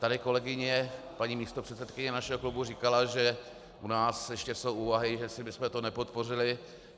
Tady kolegyně, paní místopředsedkyně našeho klubu, říkala, že u nás ještě jsou úvahy, jestli bychom to nepodpořili.